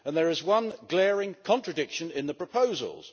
There is one glaring contradiction in the proposals.